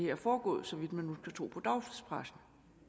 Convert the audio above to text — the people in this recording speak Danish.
er foregået så vidt man tro på dagspressen